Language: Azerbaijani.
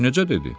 Bəs necə dedi?